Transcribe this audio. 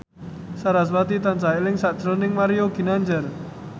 sarasvati tansah eling sakjroning Mario Ginanjar